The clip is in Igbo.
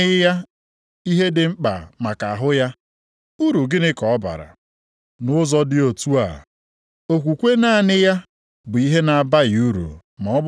Ọ bụrụ na otu nwanne anyị nwoke maọbụ nwanne anyị nwanyị yi nkịrịnka akwa, ọ bụrụkwa na o nweghị ihe oriri ga-ezuru ya nʼụbọchị,